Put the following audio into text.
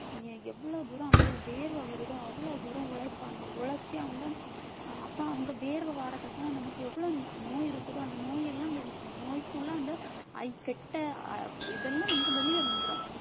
எ~ எவ்வளவு தூரம் அவங்களுக்கு வேர்வை வருதோ அவ்வளவு தூரம் உழைப்பாங்க உழைச்சு அவங்க அப்ப அவங்க வியர்வை வர்றதுக்காக நமக்கு எவ்வளவு நோய் இருக்குதோ அந்த நோய் எல்லாம் வெ~ நோய்க்குள்ள அந்த இதெல்லாம் நமக்கு வெளிய வந்திரும்